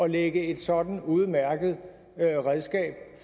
lægge et sådant udmærket redskab